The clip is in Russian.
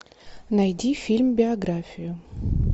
найди фильм биографию